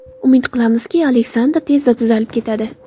Umid qilamizki, Aleksandr tezda tuzalib ketadi.